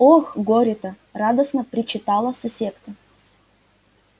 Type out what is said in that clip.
ох горе-то радостно причитала соседка